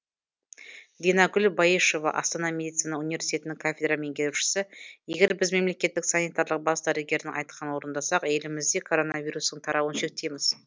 динагүл баешева астана медицина университетінің кафедра меңгерушісі егер біз мемлекеттік санитарлық бас дәрігердің айтқанын орындасақ елімізде коронавирустың тарауын шектейміз